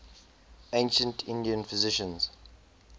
ancient indian physicians